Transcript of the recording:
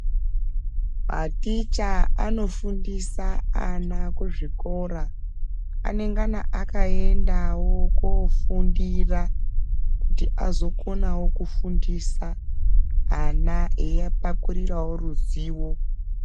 Maticha anofundisa ana kuzvikora ane ngana akaendawo kufundira kuti azokonawo kufundisa ana eiapakurirawo ruzivo.